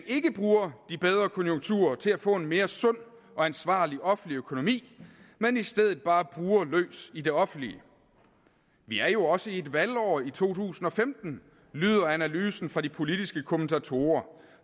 ikke bruger de bedre konjunkturer til at få en mere sund og ansvarlig offentlig økonomi men i stedet bare bruger løs i det offentlige vi er jo også i et valgår i to tusind og femten lyder analysen fra de politiske kommentatorer